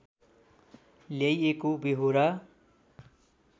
ल्याइएको व्यहोरा